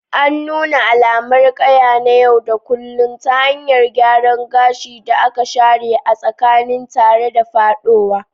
An nuna alamar ƙaya na yau da kullun ta hanyar gyaran gashin da aka share a tsakiya, tare da faɗowa.